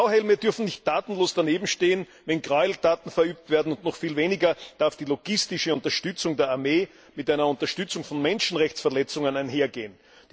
Blauhelme dürfen nicht tatenlos danebenstehen, wenn Gräueltaten verübt werden, und noch viel weniger darf die logistische Unterstützung der Armee mit einer Unterstützung von Menschenrechtsverletzungen einhergehen.